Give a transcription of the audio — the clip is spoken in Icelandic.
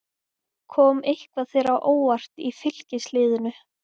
Kom eitthvað þér á óvart í Fylkisliðinu?